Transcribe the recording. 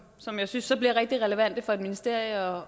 som jeg synes bliver rigtig relevante for et ministerium